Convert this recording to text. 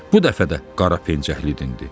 Bu dəfə də qara pencəkli dindi.